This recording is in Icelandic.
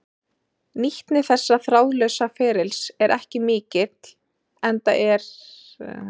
Nýtni þessa þráðlausa ferlis er ekki mikil enda er upplýsingamiðlun markmiðið.